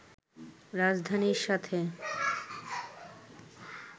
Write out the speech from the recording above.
রাজধানীর সাথে